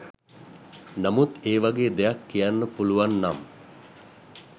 නමුත් ඒ වගේ දෙයක් කියන්න පුළුවන් නම්